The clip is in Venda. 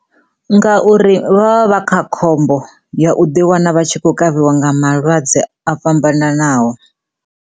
Ngauri vha vha vha kha khombo ya u ḓi wana vha tshi khou kavhiwa nga malwadze o fhambananaho.